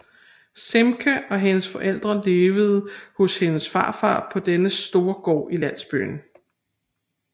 Simke og hendes forældre levede hos hendes farfar på dennes store gård i landsbyen